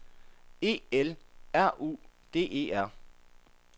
E L R U D E R